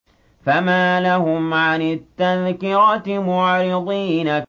فَمَا لَهُمْ عَنِ التَّذْكِرَةِ مُعْرِضِينَ